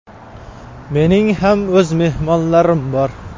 Mening ham o‘z mehmonlarim bor.